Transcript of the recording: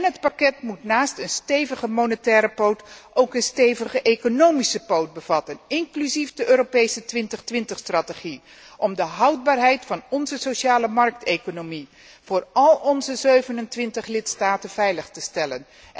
het pakket moet naast een stevige monetaire poot ook een stevige economische poot bevatten, inclusief de Europese 2020 strategie om de houdbaarheid van onze sociale markteconomie voor al onze 27 lidstaten veilig te stellen